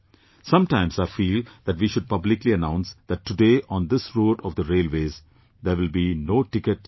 Sometimes I feel that we should publicly announce that today on this route of the railways there will be no ticket checker